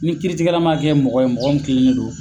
Ni kiiritigɛla m kɛ mɔgɔ ye mɔgɔ min kilen len don